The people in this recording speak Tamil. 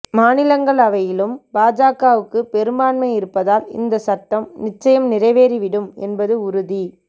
மாநிலங்களவையிலும் பாஜகவுக்கு பெரும்பான்மை இருப்பதால் இந்த சட்டம் நிச்சயம் நிறைவேறிவிடும் என்பது உறுதி